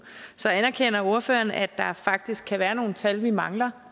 så anerkender ordføreren at der faktisk kan være nogle tal vi mangler